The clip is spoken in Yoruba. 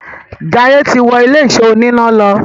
Jaiye tí wọ Ilé-ìṣọ́ oníná ló.